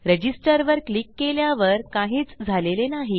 register वर click केल्यावर काहीच झालेले नाही